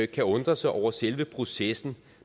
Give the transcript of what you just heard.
kan undre sig over selve processen